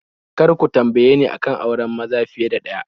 Kar ku tambaye ni a kan auren maza fiye da ɗaya